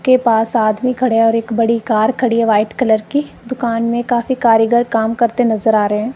के पास आदमी खड़े है और एक बड़ी कार खड़ी है व्हाइट कलर की दुकान में काफी कारिगर काम करते नजर आ रहे है।